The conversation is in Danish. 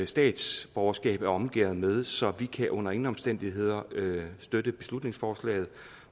statsborgerskab er omgærdet med så vi kan under ingen omstændigheder støtte beslutningsforslaget